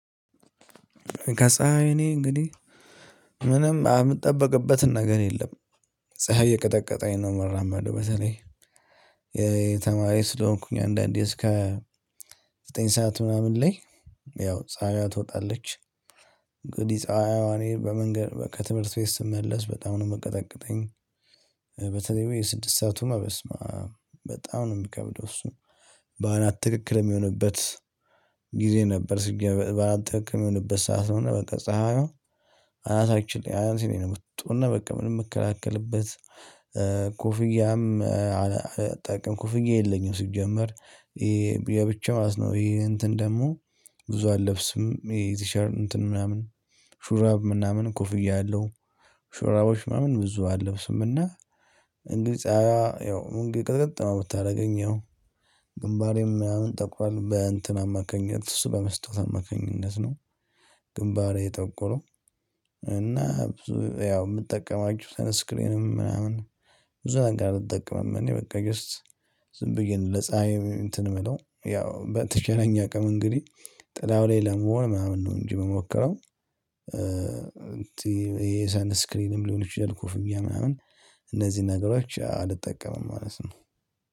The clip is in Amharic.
ከፀሀይ እኔ እንግዲህ ምንም እምጠብቅበት ነገር የለም። ፀሀይ እየቀጠቀጠኝ ነው የምራመደው በተለይ። የተማሪ ስለሆንኩኝ አንዳንዴ እስከ ዘጠኝ ሰዓት ምናምን ላይ ያው ፀሀይ ትወጣለች። እንግዲህ ፀሀይ እኔ በመንገድ ከትምህርት ቤት ስመለስ በጣም ነው የምቀጠቅጠኝ። በተለይ የስድስት ሰአቱም በስማአም በጣም ነው የሚከብደው እሱ። በአናት ትክክል የሚሆንበት ጊዜ ነበር ሲገባ በአናት ትክክል የሚሆንበት ሰዓት ነው። እና በቃ ፀሀይዋ አናታችን ላይ አናቴ ላይ ነው የምትወጣውና በቃ ምንም እምከላከልበት። ኮፍያም አላጠልቅም ኮፍያ የለኝም ሲጀመር። የብቻው ነው ይሄ እንትን ደግሞ ብዙ አለብስም ይሄ ቲሸርት እንትን ምናምን። ሹራብ ምናምን ኮፍያ ያለው ሹራቦች ምናምን ብዙ አልለብስም እና። እንግዲ ፀሀይዋ ያው ቅጥቅጥ ነው የምታደርገኝ ያው። ግንባሬም ምናምን ጠቁራል በእንትን አማካኝነት እሱ በመስታወት አማካኝነት ነው። ግንባሬ የጠቆረው። እና ያው የምጠቀማቸው ያው ሰንስክሪንም ምናምን ብዙ ነገር አልጠቀምም። እኔ በቃ ጀስት ዝም ብዬ ነው ለፀሀይ እንትን የምለው ያው በተቻለኝ አቅም እንግዲህ። ጥላው ላይ ለመሆን ምናምን ነው እንጂ የምሞክረው። እንትን ይሄ ሰንክሪንም ሊሆን ይችላል ኮፍያ ምናምን እነዚህ ነገሮች አልጠቀምም ማለት ነው።